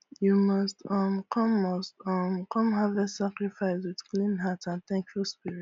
you must um come must um come harvest sacrifice with clean heart and thankful spirit